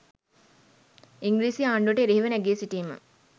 ඉංග්‍රීසි ආණ්ඩුවට එරෙහිව නැගී සිටීම